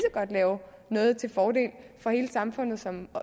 lave noget til fordel for hele samfundet som